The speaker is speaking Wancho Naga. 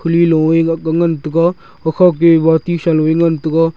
a aak ga ngan tega gakhaw ke a bati sa low e ngan tega.